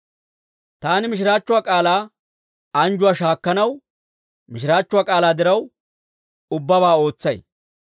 Taani mishiraachchuwaa k'aalaa anjjuwaa shaakkanaw, mishiraachchuwaa k'aalaa diraw, ubbabaa ootsay.